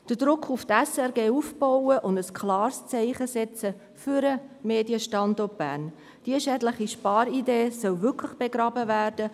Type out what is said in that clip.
Es gilt, den Druck auf die SRG aufzubauen und ein klares Zeichen zu setzen für den Medienstandort Bern – diese schädliche Sparidee soll wirklich begraben werden.